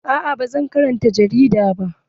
Aa ba zan karanta jarida ba.